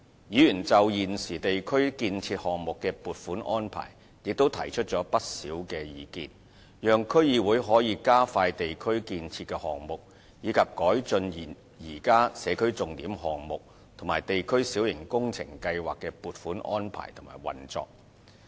議員就現有地區建設項目的撥款安排也提出不少意見，讓區議會可以加快地區建設的項目，以及改進現有社區重點項目及地區小型工程計劃的撥款安排及運作。